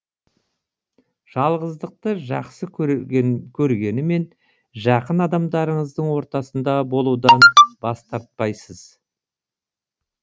жалғыздықты жақсы көргенімен жақын адамдарыңыздың ортасында болудан бас тартпайсыз